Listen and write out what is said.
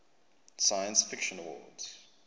science fiction awards